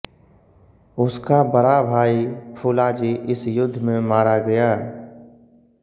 उसका बड़ा भाई फुलाजी इस युद्ध में मारा गया